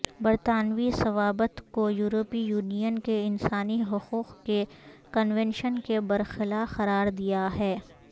برطانوی ضوابط کو یورپی یونین کے انسانی حقوق کے کنونشن کے برخلا قرار دیا ہے